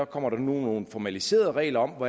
kommer nogle formaliserede regler om